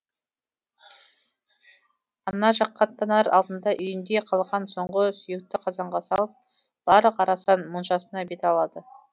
ана жаққа аттанар алдында үйінде қалған соңғы сүйекті қазанға салып барлық арасан моншасына бет алады